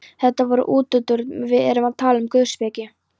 Þetta var nú útúrdúr, við erum að tala um guðspeki.